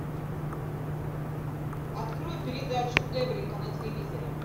открой передачу эврика на телевизоре